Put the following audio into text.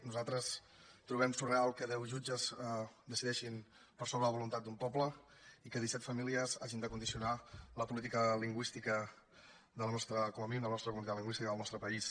nosaltres trobem surrealista que deu jutges decideixin per sobre de la voluntat d’un poble i que disset famílies hagin de condicionar la política lingüística com a mínim de la nostra comunitat lingüística i del nostre país